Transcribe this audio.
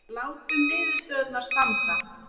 Látum niðurstöðurnar standa